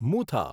Mutha